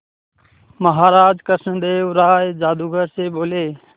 महाराज कृष्णदेव राय जादूगर से बोले